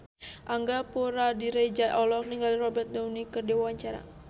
Angga Puradiredja olohok ningali Robert Downey keur diwawancara